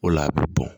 O la a bɛ bɔn